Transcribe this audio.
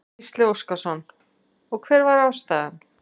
Gísli Óskarsson: Og hver var ástæðan?